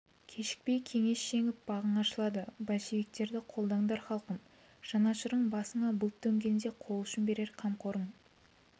кешікпей кеңес жеңіп бағың ашылады большевиктерді қолдаңдар халқым жанашырың басыңа бұлт төнгенде қол ұшын берер қамқорың